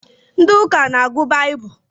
Ndị ụka n'agụ baibulu